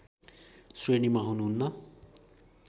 श्रेणीमा हुनुहुन्न